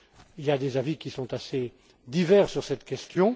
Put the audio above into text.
Il y a des avis qui sont assez divers sur cette question.